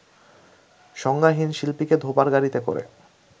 সংজ্ঞাহীন শিল্পীকে ধোপার গাড়িতে করে